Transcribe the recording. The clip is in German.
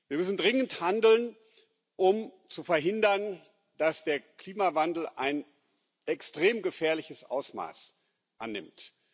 Wir müssen dringend handeln, um zu verhindern, dass der Klimawandel ein extrem gefährliches Ausmaß annimmt.